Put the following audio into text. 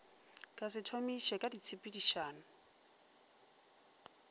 ka se thomiše ka ditshepedišo